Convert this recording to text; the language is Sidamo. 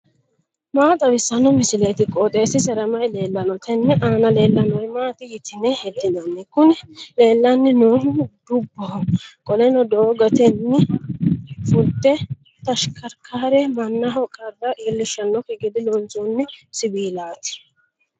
maa xawissanno misileeti? qooxeessisera may leellanno? tenne aana leellannori maati yitine heddinanni? kuni leellanni noohu dubboho qoleno doogotenni fulte tashikarkaare mannaho qarra iillishshanokki gede loonsoonni siwiilaati.